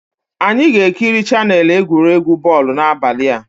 Anyị ga-ekiri chaneelụ egwuregwu bọl n'abalị a